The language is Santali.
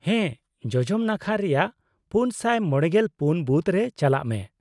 -ᱦᱮᱸ, ᱡᱚᱡᱚᱢ ᱱᱟᱠᱷᱟ ᱨᱮᱭᱟᱜ ᱔᱕᱔ ᱵᱩᱛᱷ ᱨᱮ ᱪᱟᱞᱟᱜ ᱢᱮ ᱾